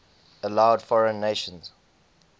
allowed foreign nations